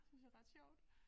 Synes jeg ret sjovt